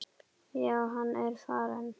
Já, hann er farinn